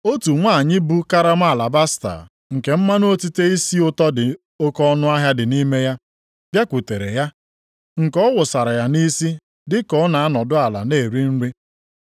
otu nwanyị bu karama alabasta nke mmanụ otite isi ụtọ dị oke ọnụahịa dị nʼime ya, bịakwutere ya, nke ọ wụsara ya nʼisi dị ka ọ na-anọdụ ala nʼeri nri.